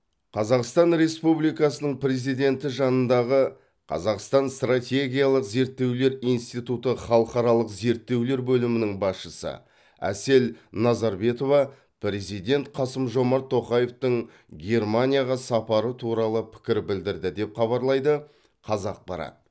қазақстан республикасының президенті жанындағы қазақстан стратегиялық зерттеулер институты халықаралық зерттеулер бөлімінің басшысы әсел назарбетова президент қасым жомарт тоқаевтың германияға сапары туралы пікір білдірді деп хабарлайды қазақпарат